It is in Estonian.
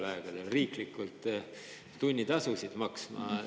– hakata riiklikult tunnitasusid maksma.